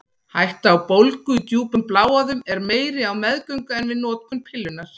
Hætta á bólgu í djúpum bláæðum er meiri á meðgöngu en við notkun pillunnar.